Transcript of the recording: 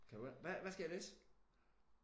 Kan du ikke hvad hvad skal jeg læse?